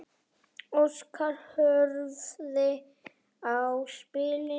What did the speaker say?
Óskar horfði á spilin.